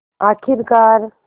आख़िरकार